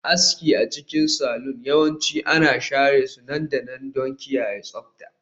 Aski a cikin salon yawanci ana share su nan da nan don kiyaye tsabta